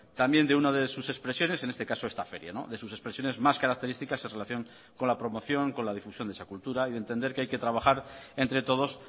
también de una de sus expresiones en este caso esta feria de sus expresiones más características en relación con la promoción con la difusión de esa cultura y de entender que hay que trabajar entre todos